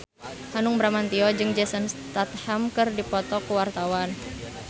Hanung Bramantyo jeung Jason Statham keur dipoto ku wartawan